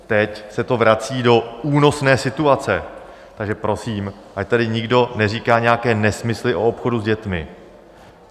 Teď se to vrací do únosné situace, takže prosím, ať tady nikdo neříká nějaké nesmysly o obchodu s dětmi.